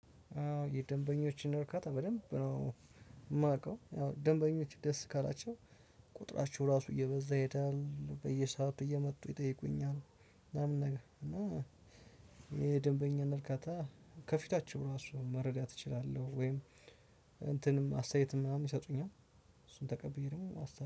የደንበኞችን እርካታ በደንብ ነው የማውቀው ደንበኞች ደስ ካላቸው ቁጥራቸው ራሱ እየበዛ ይሄዳል በየሰአቱ እየመጡ ይጠይቁኛል። ምናምን ነገር እና የደንበኛን እርካታ ከፊታችው ራሱን መረዳት እችላለሁ ወይም እንትንም አስተያየትም ምናምን ይሰጡኛል። እሱን ተቀብዬ ደግሞ